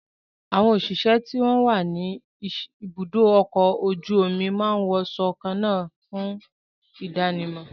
Àwọn òṣìṣẹ́ tó wà ní ibùdó ọkọ̀ ojú omi máa ń wo aṣọ kan náà fún ìdánimọ̀